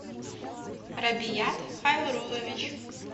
рабият хайрулович